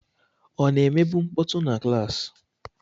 Ọ na-emebu mkpọtụ na klaasị?